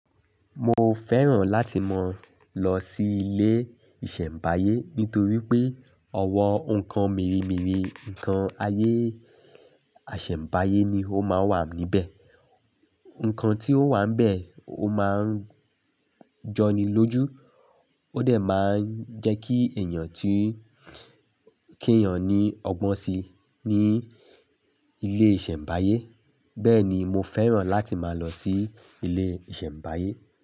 Mo fẹ́ràn láti máa lọ sí ilé ìṣẹ̀mbáyé nítorí pé ọ̀wọ́ nǹkan mírímìrí, ǹkan ayé àsẹ̀mbáyé ni ó máa wà níbẹ̀. Ǹkan tí ó wà níbẹ̀ ó máa ń jọni lójú ó dẹ̀ máa ń jẹ́ kí èèyàn tí kí èèyàn ní ọgbọ́n si ní ilé ìsẹ̀mbáyé. Bẹ́ẹ̀ni mo fẹ́ràn láti máa lọ sí ilé ìsẹ̀mbáyé.